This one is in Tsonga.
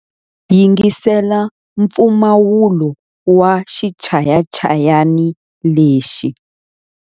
Yingisela mpfumawulo wa xichayachayani lexi.